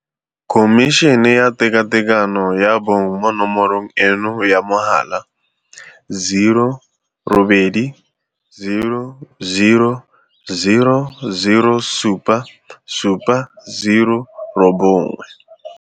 Khomišene ya Tekatekano ya Bong mo nomorong eno ya mogala - 0800 007 709.